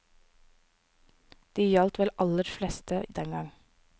De gjaldt vel aller fleste dengang.